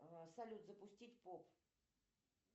салют запустить поп